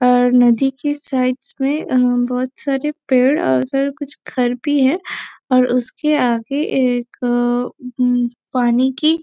अअअ नदी के साइडस में बहुत सारे पेड़ और फिर कुछ घर भी है और उसके आगे एक अअअ अम्म पानी की --